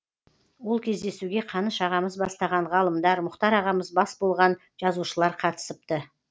ол кездесуге қаныш ағамыз бастаған ғалымдар мұхтар ағамыз бас болған жазушылар қатысыпты